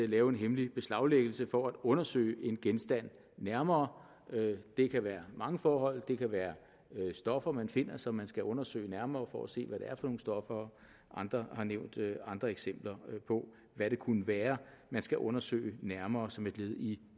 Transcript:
lave en hemmelig beslaglæggelse for at undersøge en genstand nærmere det kan være mange forhold det kan være stoffer man finder som man skal undersøge nærmere for at se hvad det er for nogle stoffer og andre har nævnt andre eksempler på hvad det kunne være man skal undersøge nærmere som et led i